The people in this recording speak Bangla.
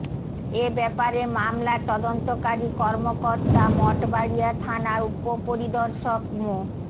এ ব্যাপারে মামলার তদন্তকারী কর্মকর্তা মঠবাড়িয়া থানার উপপরিদর্শক মো